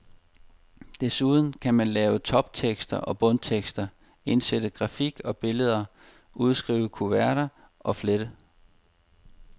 Desuden kan man lave toptekster og bundtekster, indsætte grafik og billeder, udskrive kuverter, flette.